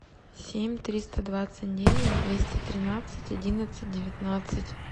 семь триста двадцать девять двести тринадцать одиннадцать девятнадцать